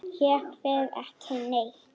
Ég fer ekki neitt.